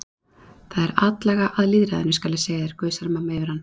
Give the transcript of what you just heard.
Það er atlaga að lýðræðinu, skal ég segja þér, gusar mamma yfir hann.